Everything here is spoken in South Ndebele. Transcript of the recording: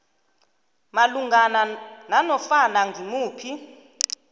malungana nanofana ngimuphi